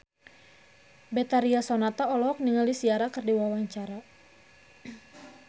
Betharia Sonata olohok ningali Ciara keur diwawancara